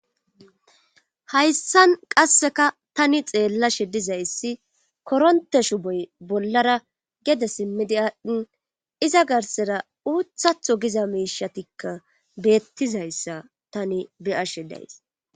Hayssan qasseka tani xeellashe dizayssi koronte shu boy bollara gede simmidi aadhdhin iza garsera uuthatho giza miishatikka beettizayssa tani beyashe days